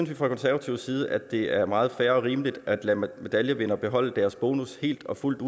vi fra konservativ side at det er meget fair og rimeligt at lade medaljevindere beholde deres bonus helt og fuldt